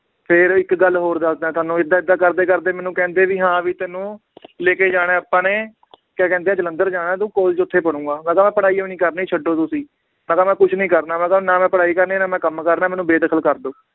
ਫੇਰ ਇੱਕ ਗੱਲ ਹੋਰ ਦੱਸਦਾਂ ਤੁਹਾਨੂੰ ਏਦਾਂ ਏਦਾਂ ਕਰਦੇ ਕਰਦੇ ਮੈਨੂੰ ਕਹਿੰਦੇ ਵੀ ਹਾਂ ਵੀ ਤੈਨੂੰ ਲੈਕੇ ਜਾਣਾ ਹੈ ਆਪਾਂ ਨੇ ਕਿਆ ਕਹਿੰਦੇ ਹੈ ਜਲੰਧਰ ਜਾਣਾ ਤੂੰ college ਓਥੇ ਪੜੂੰਗਾ ਮੈ ਕਿਹਾ ਮੈ ਪੜ੍ਹਾਈ ਹੋਈ ਨੀ ਕਰਨੀ ਛੱਡੋ ਤੁਸੀਂ, ਮੈ ਕਿਹਾ ਮੈ ਕੁਛ ਨੀ ਕਰਨਾ ਮੈ ਕਿਹਾ ਨਾ ਮੈ ਪੜ੍ਹਾਈ ਕਰਨੀ ਨਾ ਮੈ ਕੰਮ ਕਰਨਾ ਏ ਮੈਨੂੰ ਬੇਦਖਲ ਕਰਦੋ